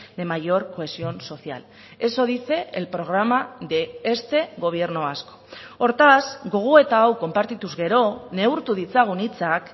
de mayor cohesión social eso dice el programa de este gobierno vasco hortaz gogoeta hau konpartituz gero neurtu ditzagun hitzak